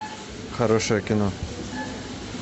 хорошее кино